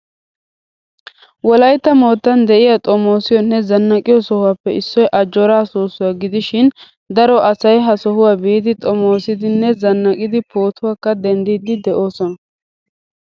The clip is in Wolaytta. Wolaytta moottan de'iyaa xomosiyonne zannaqqiyo sohuwappe issoy ajjoora soosuwaa gidishin daro asay ha sohuwaa biidi xommoosidi nne zannaqqidi pootuwaakka denddidi deosona.